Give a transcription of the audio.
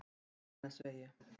Digranesvegi